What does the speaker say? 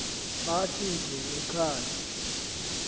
athi dzu ekhaya